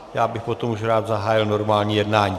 Já bych potom už rád zahájil normální jednání.